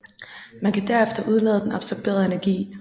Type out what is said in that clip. Man kan derefter udlade den absorberede energi